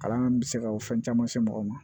Kalan bɛ se ka o fɛn caman se mɔgɔ ma